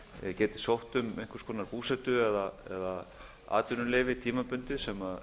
geti sótt um einhvers konar búsetu eða atvinnuleyfi tímabundið sem